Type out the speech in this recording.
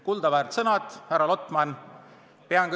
Kuldaväärt sõnad, härra Lotman!